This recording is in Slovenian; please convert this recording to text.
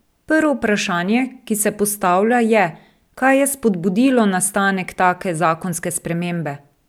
Prvo vprašanje, ki se postavlja, je, kaj je spodbudilo nastanek take zakonske spremembe?